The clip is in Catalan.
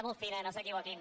molt fina no s’equivoquin